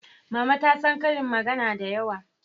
Mama ta san ƙarin magana da yawa